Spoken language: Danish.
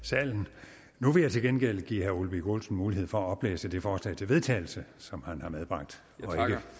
i salen nu vil jeg til gengæld give herre ole birk olesen mulighed for at oplæse det forslag til vedtagelse som han har medbragt det